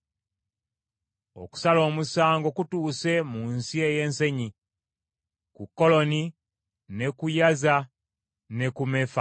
Okusala omusango kutuuse mu nsi ey’ensenyi ku Koloni ne ku Yaza ne ku Mefaasi,